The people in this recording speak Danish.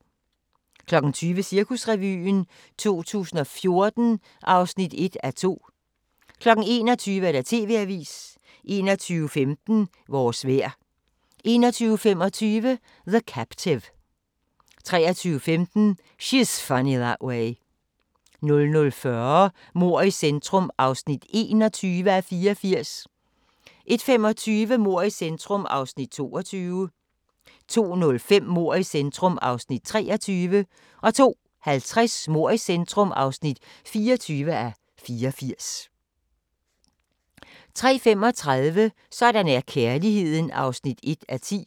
20:00: Cirkusrevyen 2014 (1:2) 21:00: TV-avisen 21:15: Vores vejr 21:25: The Captive 23:15: She's Funny That Way 00:40: Mord i centrum (21:84) 01:25: Mord i centrum (22:84) 02:05: Mord i centrum (23:84) 02:50: Mord i centrum (24:84) 03:35: Sådan er kærligheden (1:10)